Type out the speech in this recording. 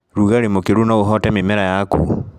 Rugarĩ mũkĩru noũhote mĩmera yaku.